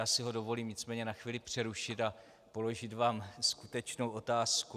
Já si ho dovolím nicméně na chvíli přerušit a položit vám skutečnou otázku.